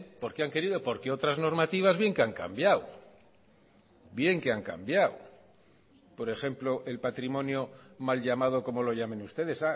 porque han querido porque otras normativas bien que han cambiado bien que han cambiado por ejemplo el patrimonio mal llamado como lo llamen ustedes